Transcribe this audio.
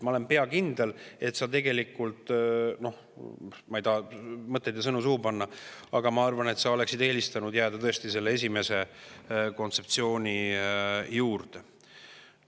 Ma olen pea kindel – noh, ma ei taha mõtteid ja sõnu suhu panna, aga ma arvan, et sa oleksid tegelikult tõesti eelistanud jääda selle esimese kontseptsiooni juurde.